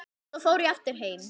Svo fór ég aftur heim.